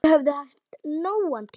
Þau höfðu haft nógan tíma.